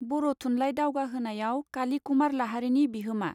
बर थुनलाई दावगाहोनायाव काली कुमार लाहारीनि बिहोमा.